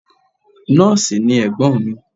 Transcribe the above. Nọ́ọ̀sì ni Ẹ̀gbọ́n mi.